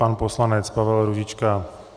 Pan poslanec Pavel Růžička.